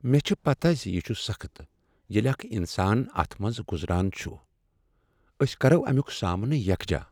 مےٚ چھ پتا ز یِہ چُھ سخٕت ییٚلہ اکھ انسان اتھ منٛز گزران چُھ ! أسۍ کَرو اَمِیُک سامنہٕ یکجا ۔